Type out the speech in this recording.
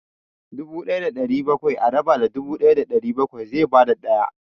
Dubu ɗaya da ɗari bakwai a raba da dubu ɗaya da ɗari bakwai zai ba da ɗaya.